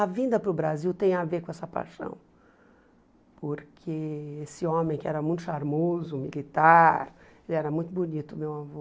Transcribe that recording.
A vinda para o Brasil tem a ver com essa paixão, porque esse homem que era muito charmoso, militar, ele era muito bonito, meu avô.